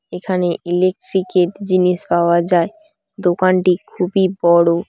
এখানে ইলেকট্রিক -এর জিনিস পাওয়া যায়। দোকানটি খুবই বড়ো।